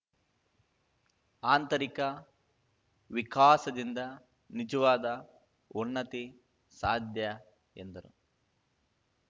ಆಂತರಿಕ ವಿಕಾಸದಿಂದ ನಿಜವಾದ ಉನ್ನತಿ ಸಾಧ್ಯ ಎಂದರು